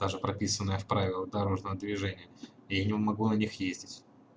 даже прописанные в правилах дорожного движения и я не могу на них ездить